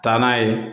Taa n'a ye